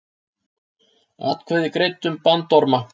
Atkvæði greidd um bandorma